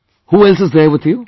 Who else is there with you